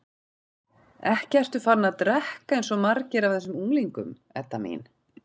Ekki ert þú farin að drekka eins og margir af þessum unglingum, Edda mín?